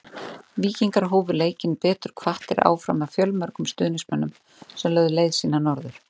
Víkingar hófu leikinn betur hvattir áfram af fjölmörgum stuðningsmönnum sem lögðu leið sína norður.